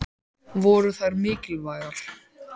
Voru þær mikilvægar?